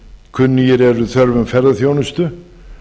kunnugir eru þörfum ferðaþjónustu